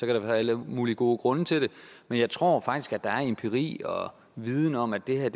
der være alle mulige gode grunde til det men jeg tror faktisk at der er empiri og viden om at det her